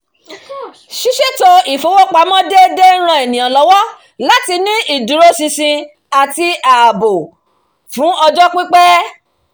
ṣíṣètò ìwà ifowópamọ́ déédéé ń ran ènìyàn lọ́wọ́ láti ní ìdúróṣinṣin àti ààbò ìṣúná fún ọjọ́ pípẹ́